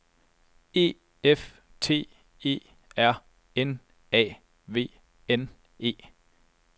E F T E R N A V N E